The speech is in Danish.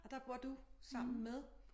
Og der bor du sammen med?